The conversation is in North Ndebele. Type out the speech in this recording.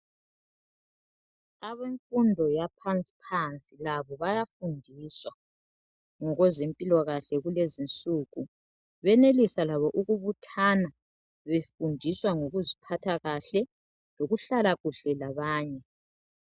Abemfundo yaphansi phansi labo bayafundiswa ngokweze mpilakahle kulezinsuku benelisa labo ukubuthana befundisa ngokuziphatha kahle lokuhlala kahle labanye